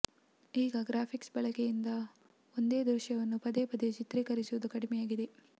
ಈಗ ಗ್ರಾಫಿಕ್ಸ್ ಬಳಕೆಯಿಂದ ಒಂದೇ ದೃಶ್ಯವನ್ನು ಪದೇ ಪದೇ ಚಿತ್ರೀಕರಿಸುವುದು ಕಡಿಮೆಯಾಗಿದೆ